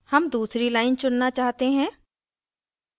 हम दूसरी line चुनना चाहते हैं